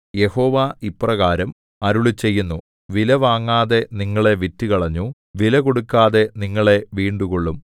യഹോവ ഇപ്രകാരം അരുളിച്ചെയ്യുന്നു വിലവാങ്ങാതെ നിങ്ങളെ വിറ്റുകളഞ്ഞു വിലകൊടുക്കാതെ നിങ്ങളെ വീണ്ടുകൊള്ളും